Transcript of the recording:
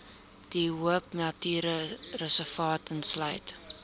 de hoopnatuurreservaat insluit